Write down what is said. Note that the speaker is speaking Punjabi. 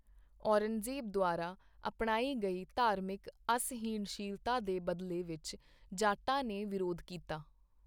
ਔਰੰਗਜ਼ੇਬ ਦੁਆਰਾ ਅਪਣਾਈ ਗਈ ਧਾਰਮਿਕ ਅਸਹਿਣਸ਼ੀਲਤਾ ਦੇ ਬਦਲੇ ਵਿੱਚ ਜਾਟਾਂ ਨੇ ਵਿਰੋਧ ਕੀਤਾ।